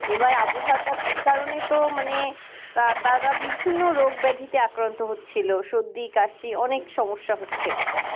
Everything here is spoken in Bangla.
এবার আবহাওয়াটা কারণে তো মানে তারা বিভিন্ন রোগব্যাধিতে আক্রান্ত ছিল সর্দি কাশি অনেক সমস্যা হচ্ছে